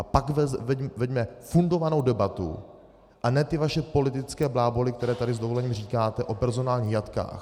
A pak veďme fundovanou debatu a ne ty vaše politické bláboly, které tady s dovolením říkáte o personálních jatkách.